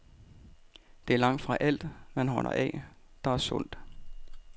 Det er langtfra alt, man holder af, der er sundt.